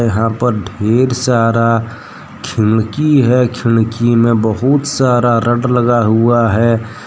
यहां पर ढेर सारा खिड़की है खिड़की में बहुत सारा रोड हुआ है।